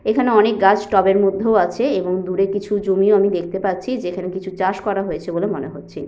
এখানে অনেক গাছ টবের মধ্যেও আছে এবং দূরে কিছু জমি আমি দেখতে পাচ্ছি যেখানে কিছু চাষ করা হয়েছে বলে মনে হচ্ছে।